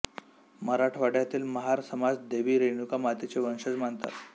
मराठवाड्यातील महार समाज देवी रेणुका मातेचे वंशज मानतात